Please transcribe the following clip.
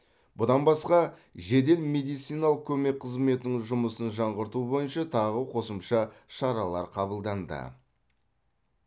бұдан басқа жедел медициналық көмек қызметінің жұмысын жаңғырту бойынша тағы қосымша шаралар қабылданды